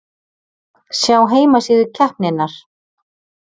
Sjá heimasíðu keppninnar